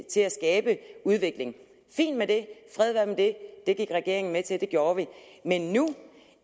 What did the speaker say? til at skabe udvikling fint med det fred være med det det gik regeringen med til og det gjorde vi men nu